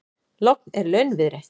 Logn er launviðri.